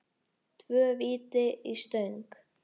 Tvö víti í stöng?